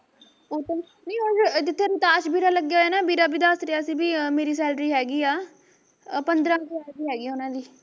ਉਹ ਤਾਂ, ਨਹੀਂ ਜਿੱਥੇ ਕਾਸ਼ ਵੀਰਾਂ ਲੱਗਿਆ ਹੋਇਆ ਨਾ ਵੀਰਾਂ ਵੀ ਦੱਸ ਰਿਹਾ ਸੀ ਵੀ ਮੇਰੀ salary ਹੈਗੀ ਆ ਆ ਪੰਦਰਾਂ ਕੁ ਸ਼ੈਦ ਹੈਗੀ ਐ ਉਹਨਾਂ ਦੀ